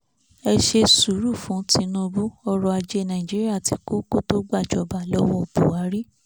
ẹ ṣe sùúrù fún tìṣíbù ọrọ̀ ajé nàíjíríà ti kú kó tó gbàjọba lọ́wọ́ buhari